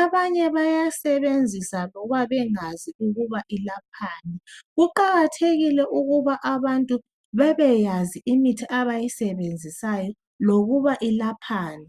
Abanye bayasebenzisa loba bengazi ukuthi iyelaphani. Kuqakathekile ukuba abantu bebeyazi imithi abayisebenzisayo lokuba elaphani.